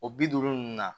O bi duuru ninnu na